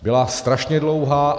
Byla strašně dlouhá.